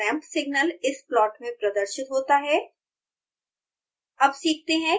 step और ramp signal इस plot में प्रदर्शित होता है